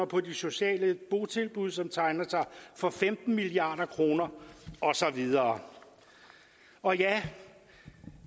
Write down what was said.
på de sociale botilbud som tegner sig for femten milliard kroner og så videre og ja